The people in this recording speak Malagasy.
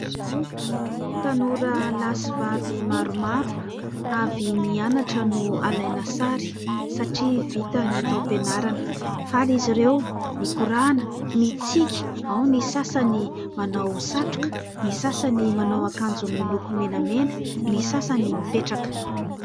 Tanora lahy sy vavy maromaro avy nianatra no alaina sary satria vita ny taom-pianarana ; faly izy ireo mikorana, mitsiky ; ao ny sasany manao satroka, ny sasany manao akanjo miloko menamena, ny sasany mipetraka.